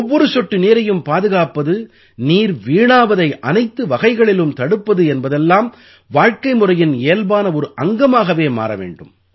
ஒவ்வொரு சொட்டு நீரையும் பாதுகாப்பது நீர் வீணாவதை அனைத்து வகைகளிலும் தடுப்பது என்பதெல்லாம் வாழ்க்கைமுறையின் இயல்பான ஒரு அங்கமாகவே மாற வேண்டும்